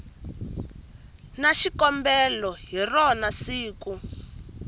na xikombelo hi rona siku